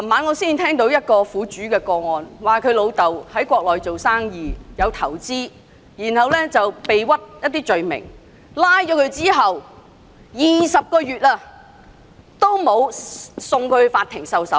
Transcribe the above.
我昨晚聽到一個苦主的個案，他父親在國內經商投資時遭人誣告，被捕20個月後一直未有送交法庭受審。